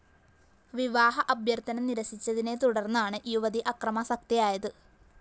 വിവാഹ അഭ്യര്‍ഥന നിര്‍സിച്ചതിനെ തുടര്‍ന്നാണ് യുവതി അക്രമാസക്തയായത്